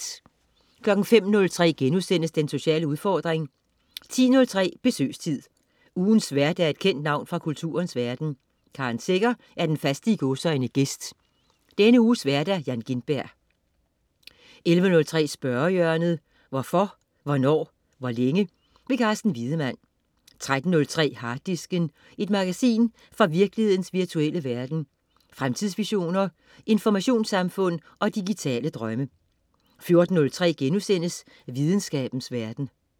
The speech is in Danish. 05.03 Den sociale udfordring* 10.03 Besøgstid. Ugens vært er et kendt navn fra kulturens verden. Karen Secher er den faste "gæst". Denne uges vært: Jan Gintberg 11.03 Spørgehjørnet. Hvorfor, hvornår, hvor længe? Carsten Wiedemann 13.03 Harddisken. Et magasin fra virkelighedens virtuelle verden. Fremtidsvisioner, informationssamfund og digitale drømme 14.03 Videnskabens verden*